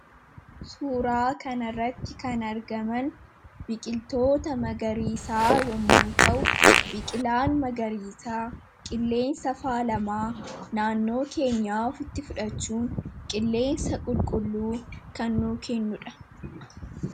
suuraa kanarratti kan argaman biqiltoota magariisaa yommuu ta'u biqilaan magariisaa qilleensa faalamaa naannoo keenyafitti fudhachuun qilleensa qulqulluu kannu kennudha